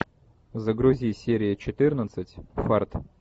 загрузи серия четырнадцать фарт